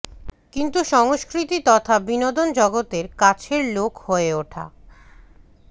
কিন্তু সংস্কৃতি তথা বিনোদন জগতের কাছের লোক হয়ে ওঠা